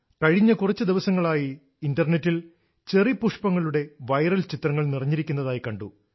കഴിഞ്ഞ കുറച്ച് ദിവസങ്ങളായി ഇന്റർനെറ്റിൽ ചെറി പുഷ്പങ്ങളുടെ വൈറൽ ചിത്രങ്ങൾ നിറഞ്ഞിരിക്കുന്നതായി കണ്ടു